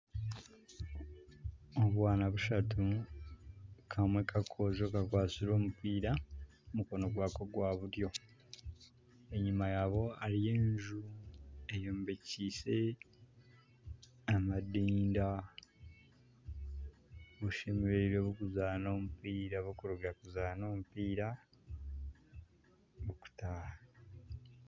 Obwana bushatu kamwe kakoojo kakwatsire omupiira omu mukono gwako gwa buryo enyuma yabwo hariyo enju eyombekiise amadinda bushemereirwe burikuzaana omupiira burikuruga kuzaana omupiira bukutaaha